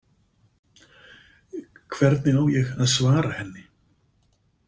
Hvernig á ég að svara henni?